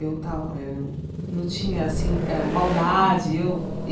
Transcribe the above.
Eu tava eu eu não tinha, assim, hã maldade eu.